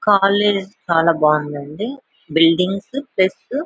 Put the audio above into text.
College చాలా బాగుందండి. Buildings plus --